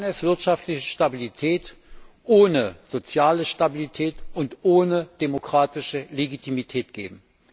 Kann es wirtschaftliche Stabilität ohne soziale Stabilität und ohne demokratische Legitimität geben?